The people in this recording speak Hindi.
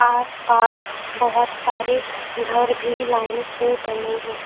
आस पास बोहोत सारे घर भी लाइन से बने हैं।